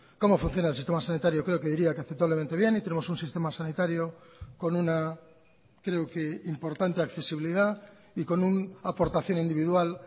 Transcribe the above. cómo funciona el sistema sanitario creo que diría que aceptablemente bien y tenemos un sistema sanitario con una creo que importante accesibilidad y con una aportación individual